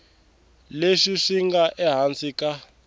leswi swi nga ehansi ka